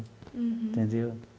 Uhum. Entendeu?